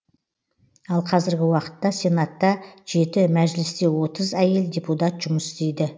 ал қазіргі уақытта сенатта жеті мәжілісте отыз әйел депутат жұмыс істейді